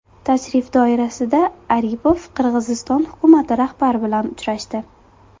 Tashrif doirasida Aripov Qirg‘iziston hukumati rahbari bilan uchrashdi .